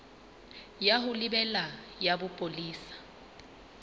ya ho lebela ya bopolesa